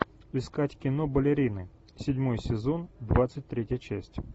искать кино балерины седьмой сезон двадцать третья часть